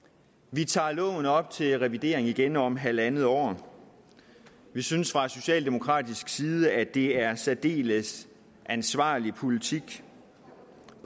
vi tager loven op til revidering igen om halvandet år vi synes fra socialdemokratisk side at det er en særdeles ansvarlig politik